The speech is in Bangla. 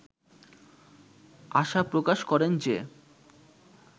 আশা প্রকাশ করেন যে